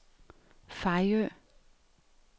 Fejø